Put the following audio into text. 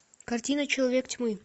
картина человек тьмы